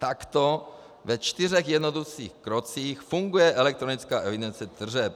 Takto ve čtyřech jednoduchých krocích funguje elektronická evidence tržeb.